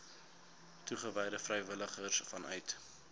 toegewyde vrywilligers vanuit